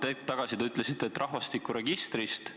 Hetk tagasi te ütlesite, et rahvastikuregistrist.